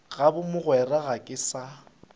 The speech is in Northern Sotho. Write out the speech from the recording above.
goba mogwera ga ke sa